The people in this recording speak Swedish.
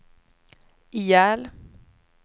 ihjäl